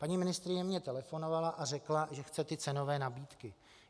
Paní ministryně mi telefonovala a řekla, že chce ty cenové nabídky.